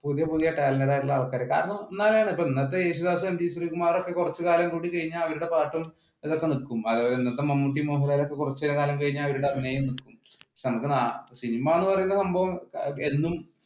പുതിയ പുതിയ talented ആയിട്ടുള്ള ആൾക്കാർ കാരണം ഇന്നത്തെ യേശുദാസ് എം ജി ശ്രീകുമാർ കുറച്ചു നാൾ കൂടി കഴിഞ്ഞാൽ മമ്മൂട്ടി മോഹൻലാൽ കുറച്ചു കാലം കഴിഞ്ഞാൽ അവരുടെ അഭിനയം സിനിമ എന്ന് പറയുന്ന സംഭവം എന്നും